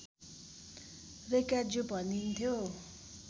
रैकाज्यू भनिन्थ्यो